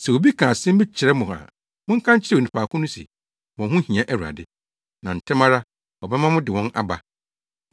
Sɛ obi ka asɛm bi kyerɛ mo a, monka nkyerɛ onipa ko no se, ‘Wɔn ho hia Awurade,’ na ntɛm ara ɔbɛma mo de wɔn aba.”